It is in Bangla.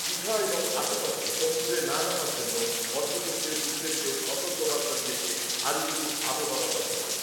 এবং আশপাশে সমুদ্রে না নামার জন্য পর্যটকদের উদ্দেশেও সতর্কতা দিয়েছে আলিপুর আবহাওয়া দফতর ।